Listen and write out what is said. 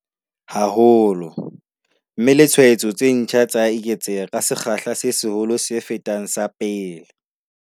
haholo, mme le tshwaetso tse ntjha tsa eketseha ka sekgahla se seholo se fetang sa pele.